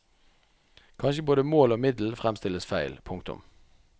Kanskje både mål og middel fremstilles feil. punktum